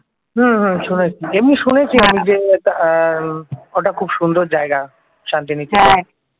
হম হম শুনেছি এমনি শুনেছি যে ওটা আহ খুব সুন্দর জায়গা শান্তি নিকেতন